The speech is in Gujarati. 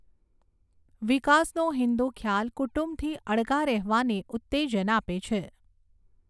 વિકાસનો હિંદુ ખ્યાલ કુટુંબથી અળગા રહેવાને ઉત્તેજન આપે છે.